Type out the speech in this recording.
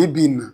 Bi bi in na